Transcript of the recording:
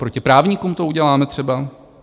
Proti právníkům to uděláme třeba?